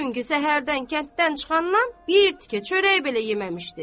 Çünki səhərdən kənddən çıxandan bir tikə çörək belə yeməmişdi.